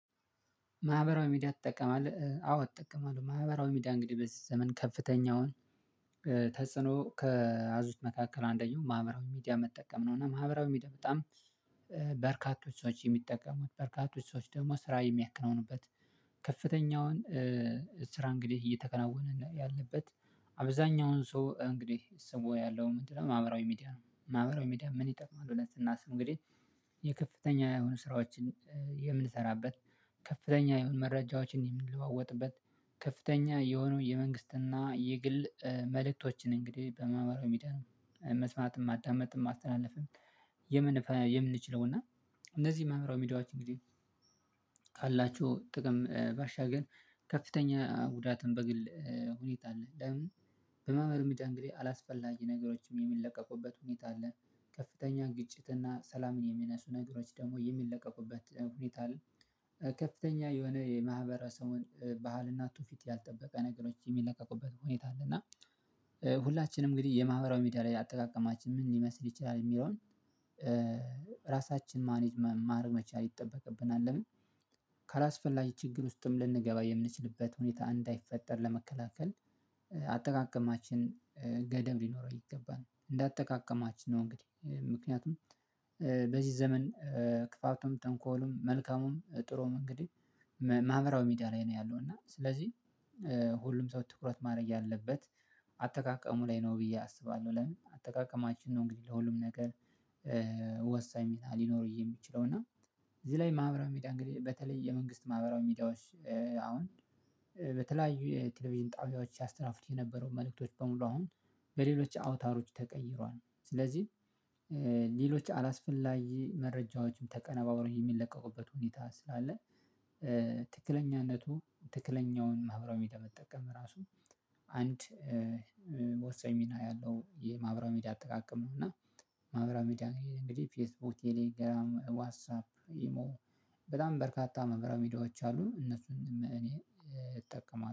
ማህበራዊ ሚዲያ ትጠቀማለህ አዎ እጠቀማለሁ። ማህበራዊ ሚዲያ እንግዲህ በዚህ ዘመን ከፍተኛውን ተጽዕኖ ከያዙት መካከል አንደኛው ማህበራዊ ሚዲያ መጠቀም ነው። እና ማህበራዊ ሚዲያ በጣም በርካቶች ሰዎች የሚጠቀሙት በርካቶች ሰዎች ደግሞ ስራ የሚያከናውኑበት ከፍተኛውን ስራ እንግዲህ እየተከናወነ ያለበት አብዛኛውን ሰው እንግዲህ ስሞ ያለው ምንድነው ማህበራዊ ሚዲያ ነው? ማህበራዊ ሚዲያ ምን ይጠቅማል? ሁለት ስናስብ እንግዲህ የከፍተኛ የሆኑ ስራዎችን የምንሰራበት ከፍተኛ የሆኑ መረጃዎችን የምንለዋወጥበት ከፍተኛ የሆኑ የመንግስትና የግል መልእክቶችን እንግዲህ በማህበራዊ ሚዲያ መስማትን ማዳመጥም ማስተላለፍም የምን የምንችለው እና እነዚህ ማህበራዊ ሚዲያዎች እንግዲህ ካላችሁ ባሻገር ከፍተኛ ጉዳትን በግል ሁኔታ አለ። ደግሞ በማህበራዊ ሚዲያ እንግዲህ አላስፈላጊ ነገሮችም የሚለቀቁበት ሁኔታ አለ። ከፍተኛ ግጭት እና ሰላምን የሚነሱ ነገሮች ደግሞ የሚለቀቁበት ሁኔታ አለ። ከፍተኛ የሆነ የማህበረሰቡን ባህል እና ትውፊት ያልጠበቀ ነገሮች የሚለቀቁበት ሁኔታ አለ። እና ሁላችንም እንግዲህ የማህበራዊ ሚዲያ ላይ አጠቃቀማችን ምን ሊመስል ይችላል የሚለውን ራሳችን ማኔጅ ማድረግ መቻል ይጠበቅብናል። ለምን ካላስፈላጊ ችግር ውስጥም ልንገባ የምንችልበት ሁኔታ እንዳይፈጠር ለመከላከል አጠቃቀማችን ገደብ ሊኖረው ይገባል። እንደ አጠቃቀማችን ነው። እንግዲህ ምክንያቱም በዚህ ዘመን ክፋቱም ጠንኮልም መልካሙም ጥሩም እንግዲህ ማህበራው ሚዲያ ላይ ነው ያለው እና ስለዚህ ሁሉም ሰው ትኩረት ማድረግ ያለበት አጠቃቀሙ ላይ ነው ብዬ አስባለሁ። ለምን አጠቃቀማችን ነው? እንግዲህ ለሁሉም ነገር ወሳኝ ሊኖር የሚችለው እና እዚህ ላይ ማህበራዊ ሚዲያ እንግዲህ በተለይ የመንግስት ማህበራዊ ሚዲያዎች አሁን በተለያዩ ቴሌቪዥን ጣቢያዎች ሲያስተላልፍት የነበረው መልእክቶች በሙሉ አሁን በሌሎች አውታሮች ተቀይሯል። ስለዚህ ሌሎች አላስፈላጊ መረጃዎችም ተቀነባብሮ የሚለቀቁበት ሁኔታ ስላለ ትክክለኛነቱ ትክክለኛውን ማህበራዊ በመጠቀም ራሱ አንድ ወሳኝ ሚና ያለው የማህበራው ሚዲያ አጠቃቀም እና ማህበራው ሚዲያ እንግዲህ ፌስቡክ ቴሌግራም ዋትሳፕ ኢሞ በጣም በርካታ ማህበራዊ ሚዲያዎች አሉ እነሱንም እኔ እጠቀማለሁ